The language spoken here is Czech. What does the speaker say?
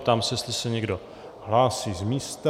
Ptám se, jestli se někdo hlásí z místa.